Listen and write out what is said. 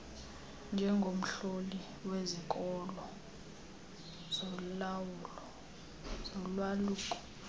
njengomhloli wezikolo zolwaluko